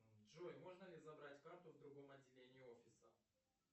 джой можно ли забрать карту в другом отделении офиса